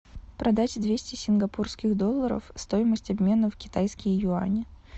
продать двести сингапурских долларов стоимость обмена в китайские юани